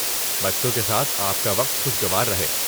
بچوں کے ساتھ آپ کا وقت خوشگوار رہے۔